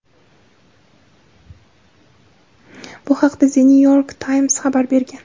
Bu haqda "The New York Times" xabar bergan.